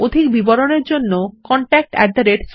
অধিক বিবরণের জন্য contactspoken tutorialorg তে ইমেল করুন